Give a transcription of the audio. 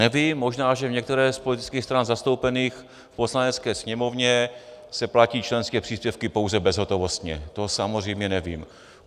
Nevím, možná že v některé z politických stran zastoupených v Poslanecké sněmovně se platí členské příspěvky pouze bezhotovostně, to samozřejmě nevím.